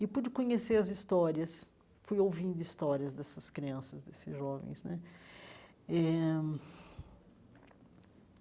E pude conhecer as histórias, fui ouvindo histórias dessas crianças, desses jovens né eh.